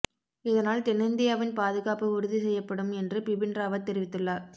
இதனால் தென்னிந்தியாவின் பாதுகாப்பு உறுதி செய்யப்படும் என்று பிபின் ராவத் தெரிவித்துள்ளார்